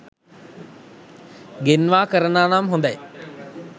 ගෙන්වා කරනවානම් හොඳය.